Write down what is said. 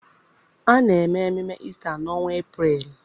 A na-eme ememme Ista n’ọnwa Eprel.